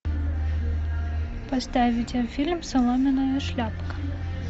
поставь видеофильм соломенная шляпка